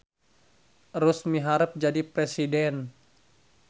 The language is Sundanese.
Erus miharep jadi presiden